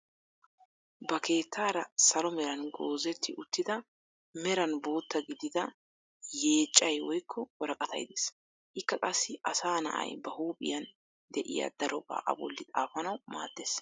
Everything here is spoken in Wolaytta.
Ba keettaara salo meeran goozetti uttida meran bootta gidida yeeccay woykko woraqatay de'ees. Ikka qassi asaa na'ay ba huuphphiyaan de'iyaa darobaa a bolli xaafanawu maaddees.